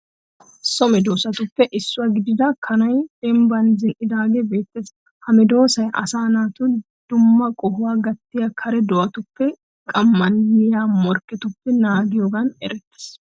So medoosatuppe issuwa gidida kanay dembban zin'iddaage beettees. ha medoosay asaa naata dumma qohuwa gattiya kare do'atuppenne qamman yiya morikketuppe naagiyogan erettees.